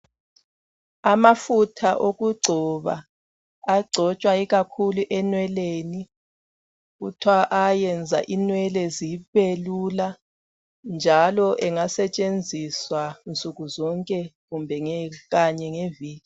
Amafutha okugcoba agcotshwa ikakhulu enweleni kuthwa ayenza inwele zibezula njalo engasetshenziswa nsuku zonke kumbe kanye ngeviki.